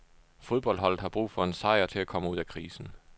Fodboldholdet har brug for en sejr til at komme ud af krisen.